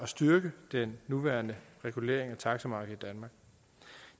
styrke den nuværende regulering af taxamarkedet